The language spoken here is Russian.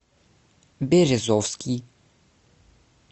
березовский